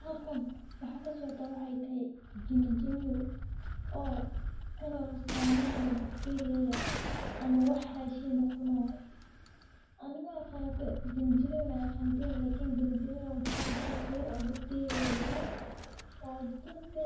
Halkan waxaa kasocda waxay tahay jinijiniyow kan oo sameynayo bacteria-yada ama wax rashin ah cunayo. Ani maaqano jinijiniyow in aa aqantin lakin jinijinyow maxaa waye bahalka yar oo ]bacteria-ga daliyo oo dadka